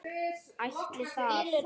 Ætli það.